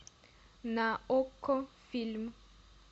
на окко фильм